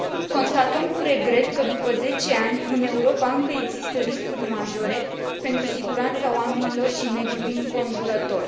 Constatăm cu regret că, după zece ani, în Europa, încă există riscuri majore pentru siguranța oamenilor și a mediului înconjurător.